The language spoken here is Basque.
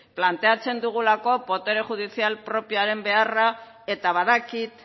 planteatzen dugulako botere judizial propioaren beharra eta badakit